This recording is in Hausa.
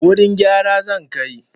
Wurin gyara zan kai.